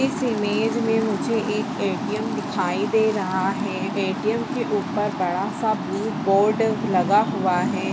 इस इमेज में मुझे एक ए.टी.एम दिखाई दे रहा है ए.टी.एम के ऊपर बड़ा-सा ब्लू बोर्ड लगा हुआ है।